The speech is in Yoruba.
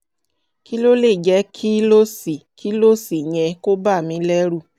kí ló lè jẹ́ kí ló sì kí ló sì yẹ kó bà mí lẹ́rù?